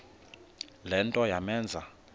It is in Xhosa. le nto yamenza